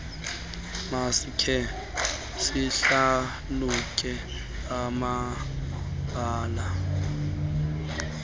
masikhe sihlalutye amabaalana